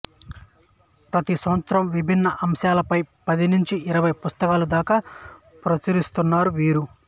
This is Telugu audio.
ప్రతి సంవత్సరం విభిన్న అంశాలపై పది నుంచి ఇరవై పుస్తకాల దాకా ప్రచురిస్తున్నారు వీరు